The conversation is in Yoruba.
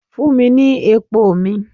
Fun mi ni epo mi!